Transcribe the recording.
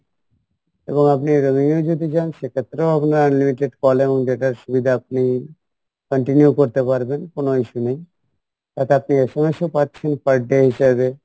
এবং আপনি roaming এও যদি যান সেক্ষেত্রেও আপনার unlimited calling data সুবিধা আপনি continue করতে পারবেন কোনো issue নেই তাতে আপনি SMS ও পাচ্ছেন per day হিসাবে